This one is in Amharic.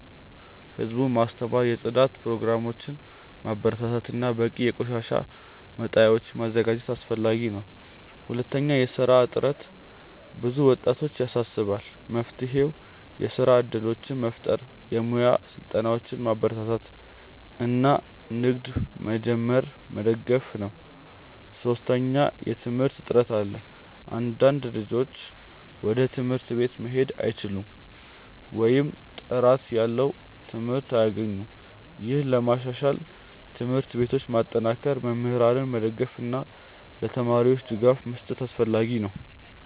ህዝቡን ማስተማር፣ የጽዳት ፕሮግራሞችን ማበረታታት እና በቂ የቆሻሻ መጣያዎችን ማዘጋጀት አስፈላጊ ነው። ሁለተኛ፣ የስራ እጥረት ብዙ ወጣቶችን ያሳስባል። መፍትሄው የስራ እድሎችን መፍጠር፣ የሙያ ስልጠናዎችን ማበረታታት እና ንግድ መጀመርን መደገፍ ነው። ሶስተኛ፣ የትምህርት እጥረት አለ። አንዳንድ ልጆች ወደ ትምህርት ቤት መሄድ አይችሉም ወይም ጥራት ያለው ትምህርት አያገኙም። ይህን ለማሻሻል ትምህርት ቤቶችን ማጠናከር፣ መምህራንን መደገፍ እና ለተማሪዎች ድጋፍ መስጠት አስፈላጊ ነው።